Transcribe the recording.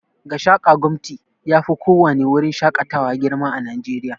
Gashaka-gumti yafi ko wani wurin shakatawa girma a najeriya